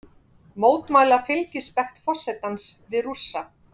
Mótmæla fylgispekt forsetans við Rússa